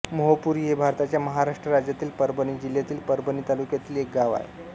मोहपुरी हे भारताच्या महाराष्ट्र राज्यातील परभणी जिल्ह्यातील परभणी तालुक्यातील एक गाव आहे